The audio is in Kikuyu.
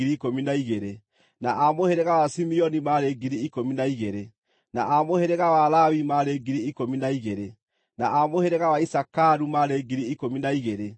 na a mũhĩrĩga wa Simeoni maarĩ 12,000, na a mũhĩrĩga wa Lawi maarĩ 12,000, na a mũhĩrĩga wa Isakaru maarĩ 12,000,